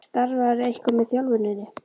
Starfarðu eitthvað með þjálfuninni?